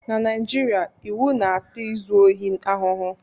Na Naijiria, iwu na-ata izu ohi ahụhụ